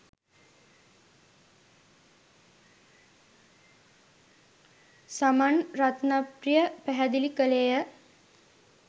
සමන් රත්නප්‍රිය පැහැදිළි කළේය